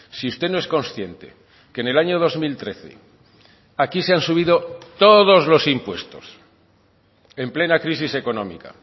si usted no es consciente que en el año dos mil trece aquí se han subido todos los impuestos en plena crisis económica